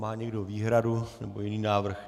Má někdo výhradu nebo jiný návrh?